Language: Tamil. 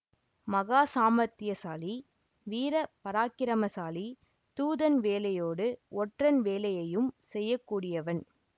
மகா சாமர்த்தியசாலி வீர பராக்கிரமசாலி தூதன் வேலையோடு ஒற்றன் வேலையையும் செய்யக்கூடியவன்